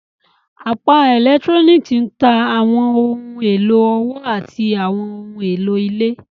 Apá Electronics n ta awọn ohun elo ọwọ ati àwọn ohùn èló ilé.